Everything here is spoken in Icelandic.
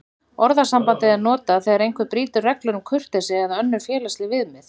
Orðasambandið er notað þegar einhver brýtur reglur um kurteisi eða önnur félagsleg viðmið.